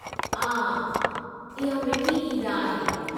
आह! इहा मीठी ईद आहे।